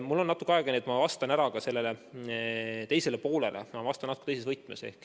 Mul on natuke aega, nii et ma vastan ka sellele teisele poolele, aga ma vastan natuke teises võtmes.